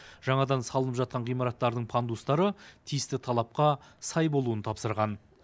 жаңадан салынып жатқан ғимараттардың пандустары тиісті талапқа сай болуын тапсырған